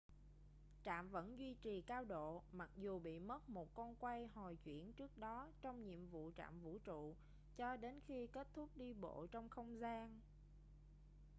trạm vẫn duy trì cao độ mặc dù bị mất một con quay hồi chuyển trước đó trong nhiệm vụ trạm vũ trụ cho đến khi kết thúc đi bộ trong không gian